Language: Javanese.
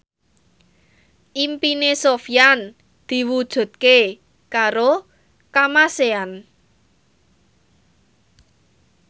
impine Sofyan diwujudke karo Kamasean